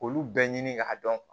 Olu bɛɛ ɲini ka dɔn